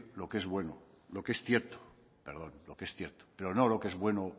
lo que es cierto pero no lo que es bueno